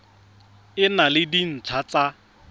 e na le dintlha tsa